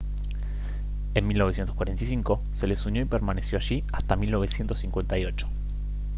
en 1945 se les unió y permaneció allí hasta 1958